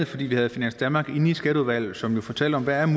fordi vi havde finans danmark inde i skatteudvalget som jo fortalte om hvad